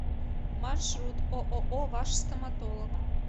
маршрут ооо ваш стоматолог